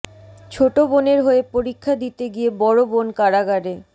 ছোট বোনের হয়ে পরীক্ষা দিতে গিয়ে বড় বোন কারাগারে